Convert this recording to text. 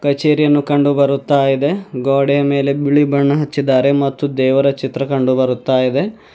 ಕಚೇರಿಯನ್ನು ಕಂಡು ಬರುತ್ತಾ ಇದೆ ಗೋಡೆ ಮೇಲೆ ಬಿಳಿ ಬಣ್ಣ ಹಚ್ಚಿದ್ದಾರೆ ಮತ್ತು ದೇವರ ಚಿತ್ರ ಕಂಡು ಬರುತ್ತಾ ಇದೆ.